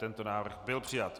Tento návrh byl přijat.